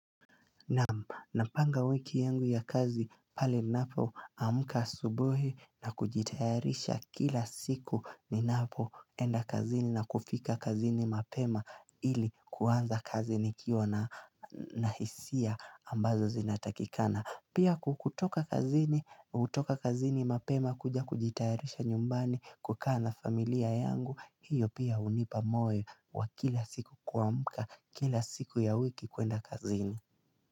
Na panga wiki yangu ya kazi pali napo amuka subuhi na kujitayarisha kila siku ni napo enda kazini na kufika kazini mapema ili kuanza kazi nikio na hisia ambazo zinatakikana Pia kutoka kazini mapema kuja kujitayarisha nyumbani kukana familia yangu hiyo pia unipa moe wa kila siku kuamuka kila siku ya wiki kuenda kazini.